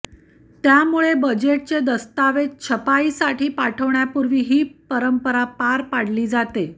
त्यामुळे बजेटचे दस्तावेज छपाईसाठी पाठवण्यापूर्वी ही परंपरा पार पाडली जाते